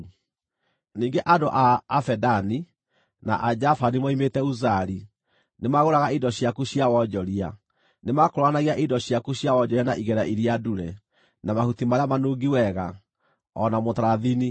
“ ‘Ningĩ andũ a Avedani, na Ajavani moimĩte Uzali nĩmagũraga indo ciaku cia wonjoria; nĩmakũũranagia indo ciaku cia wonjoria na igera iria ndure, na mahuti marĩa manungi wega, o na mũtarathini.